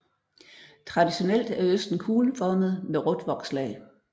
Traditionelt er osten kugleformet med rødt vokslag